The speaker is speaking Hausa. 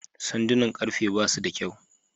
Sandunan karfe basu da kyau.